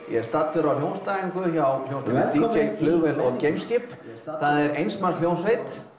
ég er staddur á hljómsveitaræfingu hjá hljómsveitinni d j flugvél og geimskip það er eins manns hljómsveit